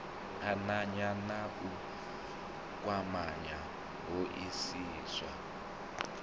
ananya na u kwamanya hoisiso